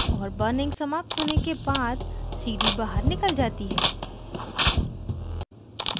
और burning समाप्त होने के बाद cd बाहर निकल जाती है